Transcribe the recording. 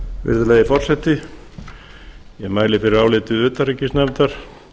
virðulegi forseti ég mæli fyrir áliti utanríkisnefndar